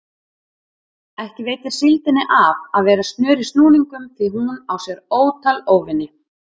Ekki veitir síldinni af að vera snör í snúningum því hún á sér ótal óvini.